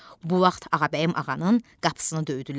Bu vaxt Ağabəyim ağanın qapısını döydülər.